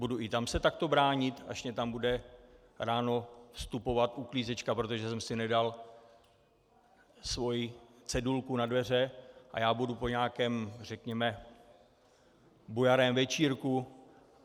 Budu i tam se takto bránit, až mě tam bude ráno vstupovat uklízečka, protože jsem si nedal svoji cedulku na dveře, a já budu po nějakém řekněme bujarém večírku?